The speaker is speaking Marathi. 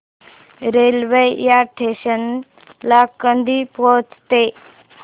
रेल्वे या स्टेशन ला कधी पोहचते